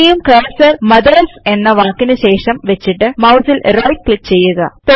ഇനിയും cursor mothers എന്ന വാക്കിന് ശേഷം വെച്ചിട്ട് മൌസിൽ റൈറ്റ് ക്ലിക്ക് ചെയ്യുക